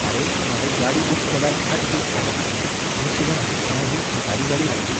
आरे, हांवें गाडी बूक केल्यार आठ दीस जाले मरे, आनी तुवें हाडटना ही खटारी गाडी हाडली.